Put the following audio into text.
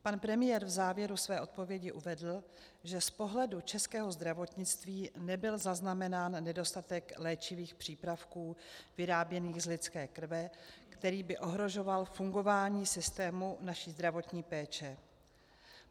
Pan premiér v závěru své odpovědi uvedl, že z pohledu českého zdravotnictví nebyl zaznamenán nedostatek léčivých přípravků vyráběných z lidské krve, který by ohrožoval fungování systému naší zdravotní péče.